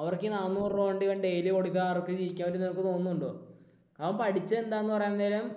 അവർക്ക് ഈ നാനൂറു രൂപ കൊണ്ട് അവൻ daily കൊടുക്കാം, അവർക്ക് ജീവിക്കാൻ പറ്റും എന്ന് നിങ്ങൾക്ക് തോന്നുന്നുണ്ടോ? അവൻ പഠിച്ചത് എന്താണെന്ന് പറയാൻ നേരം